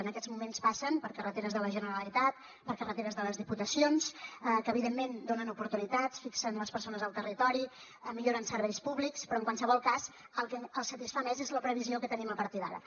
en aquests moments passen per carreteres de la generalitat per carreteres de les diputacions que evidentment donen oportunitats fixen les persones al territori milloren serveis públics però en qualsevol cas el que els satisfà més és la previsió que tenim a partir d’ara